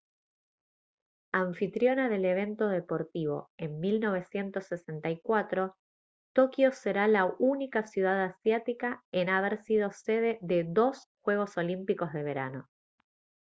anfitriona del evento deportivo en 1964 tokio será la única ciudad asiática en haber sido sede de dos juegos olímpicos de verano